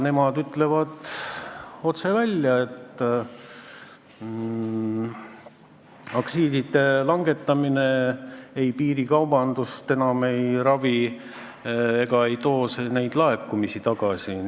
Nemad ütlevad otse välja, et aktsiiside langetamine enam piirikaubandust ei ravi ega too neid laekumisi tagasi.